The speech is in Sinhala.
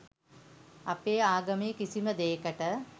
අපේ ආගමේ කිසිම දේකට